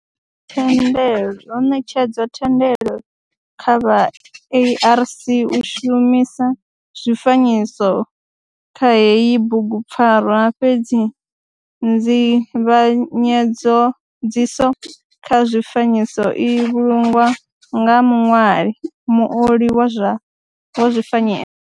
Ho netshedzwa thendelo kha vha ARC u shumisa zwifanyiso kha heyi bugu pfarwa fhedzi nzivhanyedziso kha zwifanyiso i vhulungwa nga muṋwali, muoli wa zwifanyiso.